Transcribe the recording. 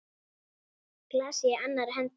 Glasið í annarri hendi.